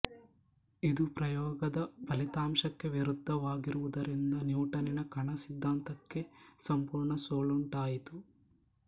ಇದು ಪ್ರಯೋಗದ ಫಲಿತಾಂಶಕ್ಕೆ ವಿರುದ್ಧವಾಗಿರುವುದರಿಂದ ನ್ಯೂಟನ್ನಿನ ಕಣ ಸಿದ್ದಾಂತಕ್ಕೆ ಸಂಪೂರ್ಣ ಸೋಲುಂಟಾಯಿತು